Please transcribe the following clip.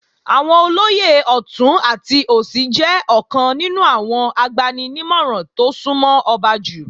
Àwọn olóyè ọ̀tún àti òsì jẹ́ ọ̀kan nínú àwọn agbani-nímọ̀ràn tó súnmọ́ ọba jù